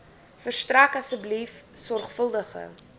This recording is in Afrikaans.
verstrek asseblief sorgvuldige